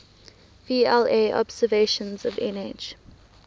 vla observations of nh